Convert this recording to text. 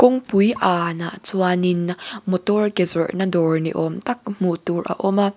kawngpui anah chuanin motor ke zawrhna dawr ni awm tak hmu tur a awm a.